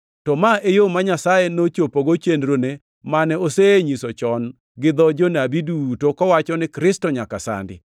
To ma e yo ma Nyasaye nochopogo chenrone mane osenyiso chon gi dho jonabi duto, kowacho ni Kristo nyaka sandi.